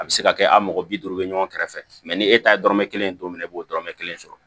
A bɛ se ka kɛ a mɔgɔ bi duuru bɛ ɲɔgɔn kɛrɛfɛ ni e ta ye dɔrɔmɛ kelen don min i b'o dɔrɔmɛ kelen sɔrɔ